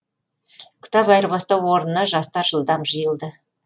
кітап айырбастау орнына жастар жылдам жиылды